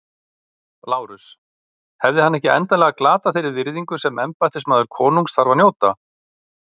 LÁRUS: Hefði hann ekki endanlega glatað þeirri virðingu sem embættismaður konungs þarf að njóta?